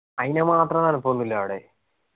അയിന് മാത്രം തണുപ്പൊന്നില്ല അവിടെ